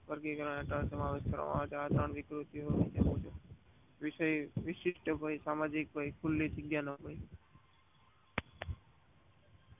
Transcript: વર્ગીકરણ નું સમાવેશ કરવામાં આવે છે. વિશિષ્ઠ ભય સામાન્ય ભય ખુલ્લી જાંગીયા નો